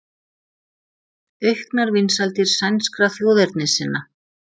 Auknar vinsældir sænskra þjóðernissinna